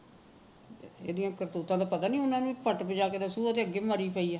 ਇਹਨਾ ਦੀਆ ਕਰਤੂਤਾਂ ਦਾ ਪਤਾ ਨਹੀ ਉਹਨੂੰ ਪੱਟ ਭਜਾ ਕੇ ਤਾਂ ਸੂਹੇ ਦੇ ਅੱਗੇ ਮਾਰੀ ਪਈ ਹੈ